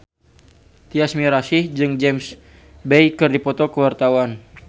Tyas Mirasih jeung James Bay keur dipoto ku wartawan